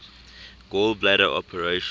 gall bladder operation